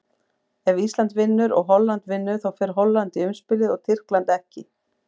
Ef Ísland vinnur og Holland vinnur, þá fer Holland í umspilið og Tyrkland ekki.